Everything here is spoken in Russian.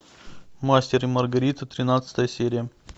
мастер и маргарита тринадцатая серия